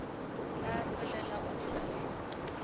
tla tswelela go dira le